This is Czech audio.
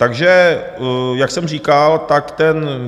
Takže jak jsem říkal, tak ten...